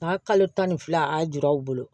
N'a kalo tan ni fila a y'a juru u bolo